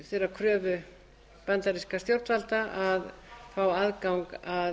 þeirrar kröfu bandarískra stjórnvalda að fá aðgang að